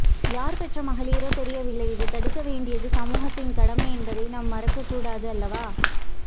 யார் பெற்ற மகளீரோ தெரியவில்லை இதை தடுக்க வேண்டியது சமூகத்தின் கடமை என்பதை நாம் மறக்க கூடாது அல்லவா